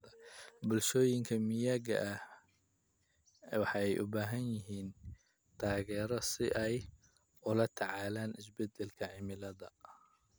Bulshooyinka miyiga ah waxay u baahan yihiin taageero si ay ula tacaalaan isbedelada cimilada.